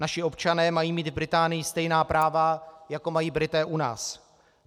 Naši občané mají mít v Británii stejná práva, jako mají Britové u nás.